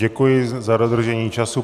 Děkuji za dodržení času.